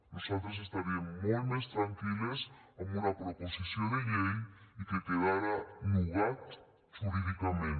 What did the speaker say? nosaltres estaríem molt més tranquil·les amb una proposició de llei i que quedara nugat jurídicament